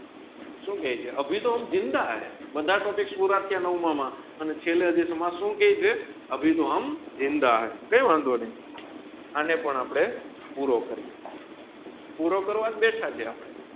સૂ કી છે અભી તોહ હમ જીંદા હૈ બાધ અટોપીક્સ પુરા થિયા નાવમાં માં અને છેલ્લે માં સુ કેયી છે અભી તોહ હમ જીંદા હૈ કઈ વાંધો નહીં અને પણ આપણે પૂરો કરીએ પૂરો કરવાજ બેઠા હૈ